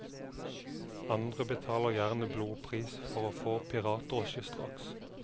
Andre betaler gjerne blodpris for å få piratdrosje straks.